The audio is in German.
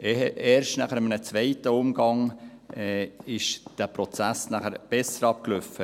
Erst in einem zweiten Umgang lief dieser Prozess besser ab.